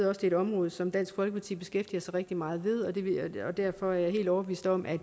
er et område som dansk folkeparti beskæftiger sig rigtig meget med og derfor er jeg helt overbevist om at